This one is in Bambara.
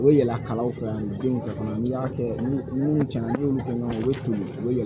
O yɛlɛla kalaw fɛ ani denw fɛ fana n'i y'a kɛ ni cɛn na ni y'olu fɛn ɲɔgɔn ye u bɛ to u bɛ